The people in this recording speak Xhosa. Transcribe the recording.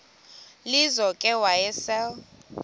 lizo ke wayesel